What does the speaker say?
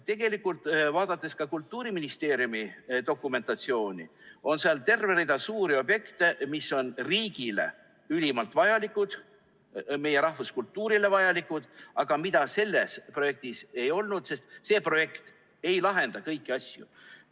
Tegelikult, vaadates ka Kultuuriministeeriumi dokumentatsiooni, on seal näha terve rida suuri objekte, mis on riigile ülimalt vajalikud, meie rahvuskultuurile vajalikud, aga mida selles projektis ei olnud, sest see projekt ei lahenda kõiki asju.